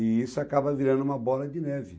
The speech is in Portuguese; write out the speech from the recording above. E isso acaba virando uma bola de neve.